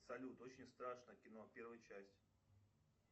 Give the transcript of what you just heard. салют очень страшное кино первая часть